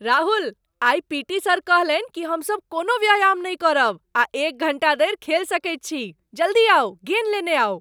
राहुल! आइ PT. Sir कहलनि कि हमसभ कोनो व्यायाम नहि करब आ एक घण्टा धरि खेल सकैत छी! जल्दी आउ, गेन् लेने आउ!